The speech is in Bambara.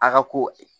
A ka ko